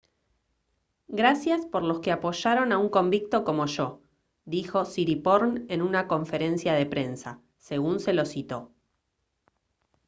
«gracias por los que apoyaron a un convicto como yo» dijo siriporn en una conferencia de prensa según se lo citó